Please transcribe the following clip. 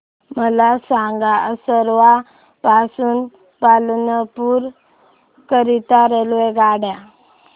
मला सांगा असरवा पासून पालनपुर करीता रेल्वेगाड्या